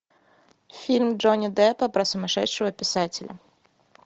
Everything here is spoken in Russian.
фильм джонни деппа про сумасшедшего писателя